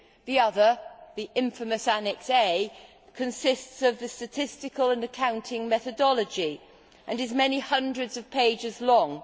The other, the infamous Annex A, consists of the statistical and accounting methodology and is many hundreds of pages long.